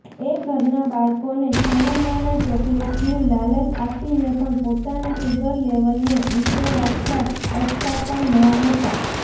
એ ઘરનાં બાળકોને છાનામાના ચોકલેટની લાલચ આપીને પણ પોતાના સુગર લેવલને ઊંચે રાખતાં અચકાતા નહોતા